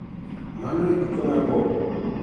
Mano e giko mar Bob?